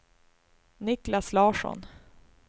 Niklas Larsson